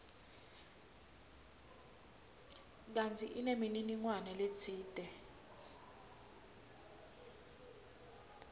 kantsi inemininingwane letsite